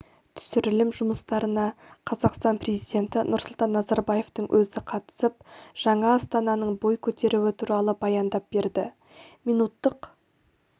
түсірілім жұмыстарына қазақстан президенті нұрсұлтан назарбаевтың өзі қатысып жаңа астананың бой көтеруі туралы баяндап берді минуттық